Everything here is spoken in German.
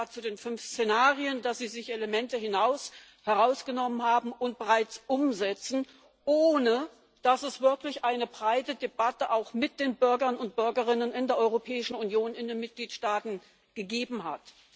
zu den fünf Szenarien unterbreitet hat, Elemente herausgenommen haben und bereits umsetzen, ohne dass es wirklich eine breite Debatte auch mit den Bürgern und Bürgerinnen in der Europäischen Union in den Mitgliedstaaten gegeben hat?